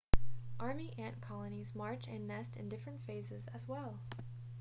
army ant colonies march and nest in different phases as well